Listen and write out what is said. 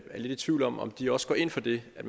lidt i tvivl om om de også går ind for det at